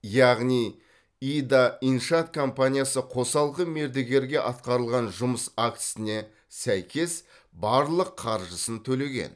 яғни ида иншаат компаниясы қосалқы мердігерге атқарылған жұмыс актісіне сәйкес барлық қаржысын төлеген